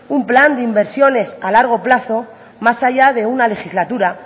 un plan de inversiones a largo plazo más allá de una legislatura